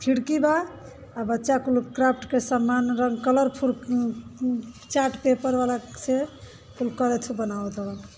खिड़की बा। आ बच्चा कुल क्राप्ट के सामान रन कलरफुल न् न् चार्ट पेपर वाला से कुल करथ बनावत हव --